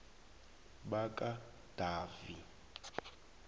bakadavi